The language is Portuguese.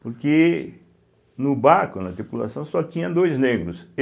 Porque no barco, na tripulação, só tinha dois negros.